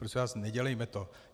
Prosím vás, nedělejme to.